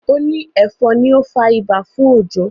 o ni efon ní o fà ibà fún Ojo.